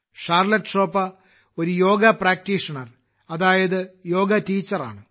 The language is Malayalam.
ഷാർലറ്റ് ഷോപ്പ ഒരു യോഗ പ്രാക്ടീഷണർ അതായത് യോഗ ടീച്ചറാണ്